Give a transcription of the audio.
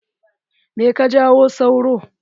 Me ke jawo sauro.